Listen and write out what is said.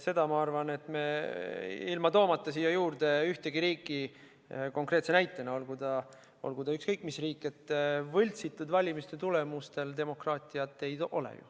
Ma arvan, toomata siia juurde ühtegi riiki konkreetse näitena, et olgu see ükskõik mis riik, võltsitud valimistulemustega demokraatiat ei ole.